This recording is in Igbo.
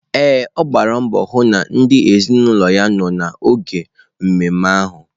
Ee, ọ gbara mbọ hụ na ndị ezinụlọ ya nọ n'oge emume ahụ.